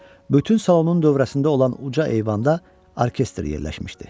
Bütün salonun dövrəsində olan uca eyvanda orkestr yerləşmişdi.